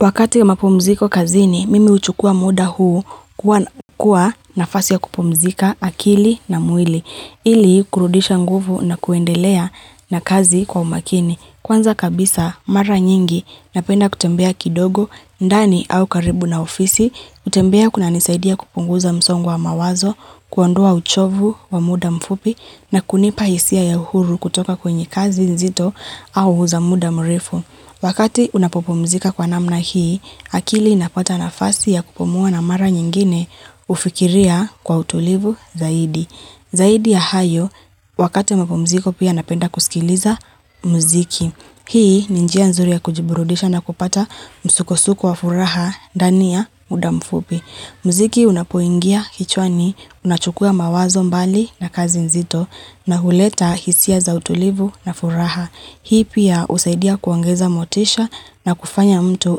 Wakati wa mapumziko kazini, mimi uchukua muda huu kuwa nafasi ya kupumzika akili na mwili, ili kurudisha nguvu na kuendelea na kazi kwa umakini. Kwanza kabisa, mara nyingi, napenda kutembea kidogo, ndani au karibu na ofisi, utembea kunanisaidia kupunguza msongo wa mawazo, kuondoa uchovu wa muda mfupi, na kunipa isia ya huru kutoka kwenye kazi nzito au huza muda mrifu. Wakati unapopomzika kwa namna hii, akili inapata nafasi ya kupumua na mara nyingine ufikiria kwa utulivu zaidi. Zaidi ya hayo, wakati wamapumziko pia napenda kusikiliza muziki. Hii ni njia nzuri ya kujiburudisha na kupata msukosuko wa furaha ndani ya muda mfupi. Mziki unapoingia kichwani, unachukua mawazo mbali na kazi nzito na huleta hisia za utulivu na furaha. Hii pia usaidia kuongeza motisha na kufanya mtu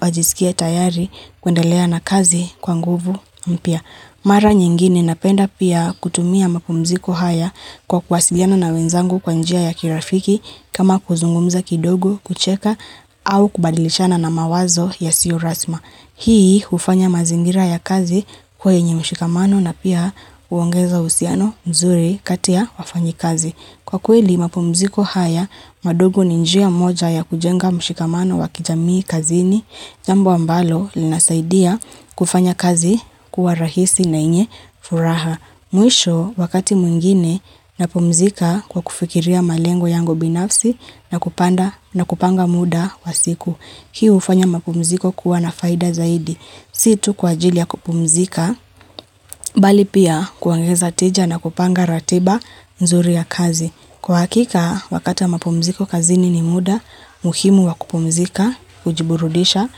ajisikie tayari kuendelea na kazi kwa nguvu mpia. Mara nyingine napenda pia kutumia mapumziko haya kwa kwasiliana na wenzangu kwa njia ya kirafiki kama kuzungumza kidogo kucheka au kubadilishana na mawazo yasio rasma. Hii ufanya mazingira ya kazi kuwa yenye mshikamano na pia uongeza usiano mzuri kati ya wafanyi kazi. Kwa kweli, mapumziko haya, madogo ni njia moja ya kujenga mshikamano wakijamii kazini, jambu ambalo linasaidia kufanya kazi kuwa rahisi na enye furaha. Muisho, wakati muingine, napumzika kwa kufikiria malengo yango binafsi na kupanga muda wa siku. Hii ufanya mapumziko kuwa nafaida zaidi. Si tu kwa ajili ya kupumzika, bali pia kuongeza tija na kupanga ratiba nzuri ya kazi. Kwa hakika, wakati wa mapumziko kazini ni muda, muhimu wa kupumzika, kujiburudisha,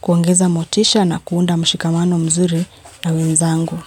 kuongeza motisha na kuunda mshikamano mzuri na wenzangu.